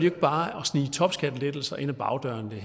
ikke bare at snige topskattelettelser ind ad bagdøren det